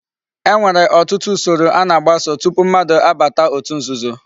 E nwere otutu usoro a na-agbaso tupu mmadu abata otu nzuzo